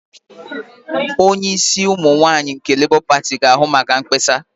Onye isi ụmụ nwaanyị nke Labour pati ga-ahụ maka mkpesa.